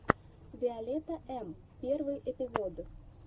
виолетта эм первый эпизод